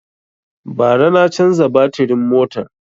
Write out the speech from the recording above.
Ba ra na canza batirin motar